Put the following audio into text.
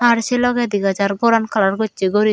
ar sei logey dega jar goran kalar gocche guriney.